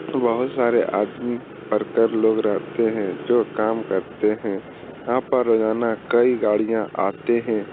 बहुत सारे आदमी वर्कर लोग रहते हैं जो काम करते हैं यहाँ पर रोजाना कई गाड़ियाँ आते हैं ।